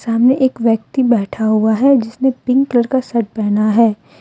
सामने एक व्यक्ति बैठा हुआ है जिस ने पिंक कलर का शर्ट पहना है।